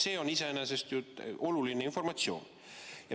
See on iseenesest oluline informatsioon.